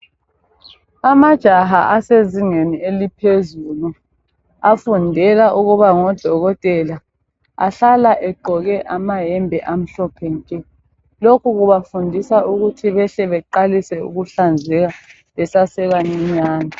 Amajaha asezingeni eliphezulu afundela ukuba ngodokotela ahlala egqoke amayembe amhlophe nke. Lokhu kubafundisa ukuthi behle beqalise ukuhlanzeka besesebancinyane.